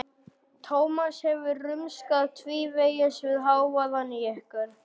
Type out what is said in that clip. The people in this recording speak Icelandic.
Tómas hefur rumskað tvívegis við hávaðann í ykkur.